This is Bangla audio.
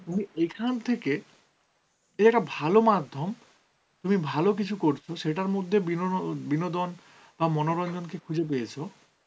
তুমি এখান থেকে এই যে একটা ভালো মাধ্যম, তুমি ভালো কিছু করছ, সেটার মধ্যে বিনোনো~ বিনোদন বা মনোরঞ্জন কে খুঁজে পেয়েছো